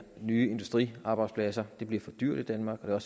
nye industriarbejdspladser det bliver for dyrt i danmark og